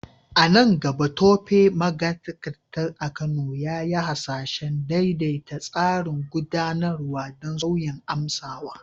A nan gaba, Tope, magatakarda a Kano, ya yi hasashen daidaita tsarin gudanarwa don saurin amsawa.